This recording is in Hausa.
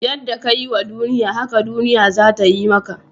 Yadda ka yi wa duniya, haka duniya za ta yi maka.